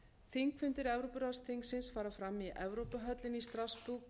þingfundir evrópuráðsþingsins fara fram í evrópuhöllinni í strassborg og